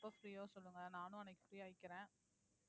எப்ப free ஒ சொல்லுங்க. நானும் அன்னைக்கு free ஆ ஆயிக்கிறேன்.